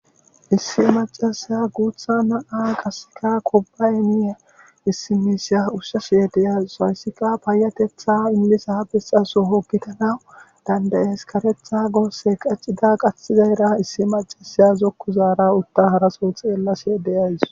Issi macasaya guutha na7a qasika kobaymiya issimisiya ushshashye deyas hayssika payatetha immisa bisxaso hogitanawu dandayeskaretha goosse qaccida qathizayra issi macasaya zokku zaara utta haraso xeellasee deyays.